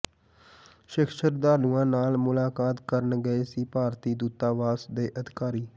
ਸਿੱਖ ਸ਼ਰਧਾਲੂਆਂ ਨਾਲ ਮੁਲਾਕਾਤ ਕਰਨ ਗਏ ਸੀ ਭਾਰਤੀ ਦੂਤਾਵਾਸ ਦੇ ਅਧਿਕਾਰੀ